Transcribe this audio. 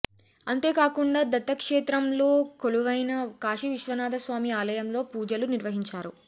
అంతే కాకుండా దత్తక్షేత్రం లో కొలువైన కాశీవిశ్వనాథ స్వామి ఆలయంలో పూజలు నిర్వహించారు